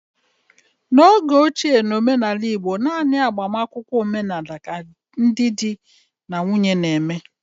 N'oge ochie, n'omenala igbo, naanị agbamakwụkwọ omenala ka ndị di na nwunye na-eme